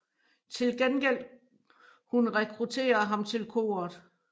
Til gengæld hun rekrutterer ham til koret